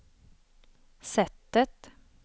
sättet